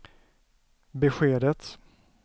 beskedet